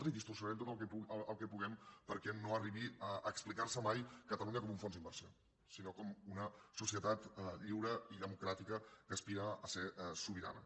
i ho distorsionarem tot el que puguem perquè no arribi a explicar se mai catalunya com un fons d’inversió sinó com una societat lliure i democràtica que aspira a ser sobirana